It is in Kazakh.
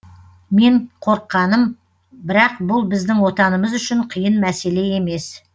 мен қорыққаным бірақ бұл біздің отанымыз үшін қиын мәселе емес